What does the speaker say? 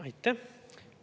Aitäh!